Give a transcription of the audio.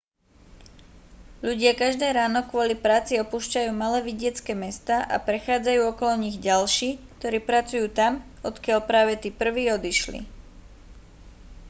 ľudia každé ráno kvôli práci opúšťajú malé vidiecke mestá a prechádzajú okolo nich ďalší ktorí pracujú tam odkiaľ práve tí prví odišli